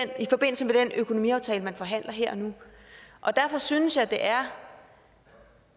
økonomiaftale man forhandler her og nu derfor synes jeg det er